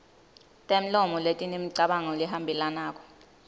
temlomo letinemicabango lehambelanako